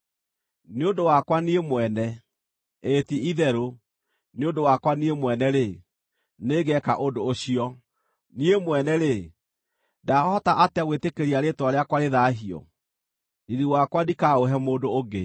Nĩ ũndũ wakwa niĩ mwene, ĩĩ ti-itherũ, nĩ ũndũ wakwa niĩ mwene-rĩ, nĩngeeka ũndũ ũcio. Niĩ mwene-rĩ, ndaahota atĩa gwĩtĩkĩria rĩĩtwa rĩakwa rĩthaahio? Riiri wakwa ndikaũhe mũndũ ũngĩ.